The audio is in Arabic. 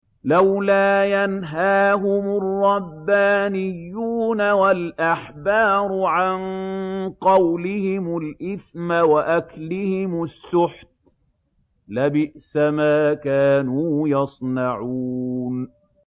لَوْلَا يَنْهَاهُمُ الرَّبَّانِيُّونَ وَالْأَحْبَارُ عَن قَوْلِهِمُ الْإِثْمَ وَأَكْلِهِمُ السُّحْتَ ۚ لَبِئْسَ مَا كَانُوا يَصْنَعُونَ